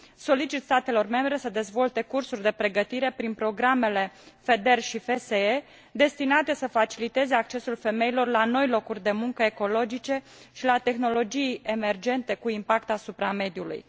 Solicit statelor membre să dezvolte cursuri de pregătire, prin programele FEDER și FSE, destinate să faciliteze accesul femeilor la noi locuri de muncă ecologice și la tehnologii emergente cu impact asupra mediului.